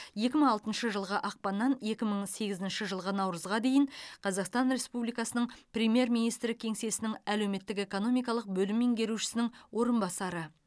екі мың алтыншы жылғы ақпаннан екі мың сегізінші жылғы наурызға дейін қазақстан республикасының премьер министрі кеңсесінің әлеуметтік экономикалық бөлім меңгерушісінің орынбасары